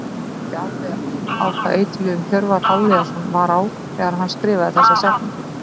Veit ekki alveg á hvaða eiturlyfjum Hjörvar Hafliðason var á þegar hann skrifaði þessa setningu.